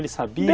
Ele sabia?